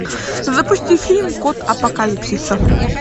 запусти фильм код апокалипсиса